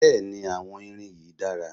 Bẹ́ẹ̀ni àwọn irin yìí dára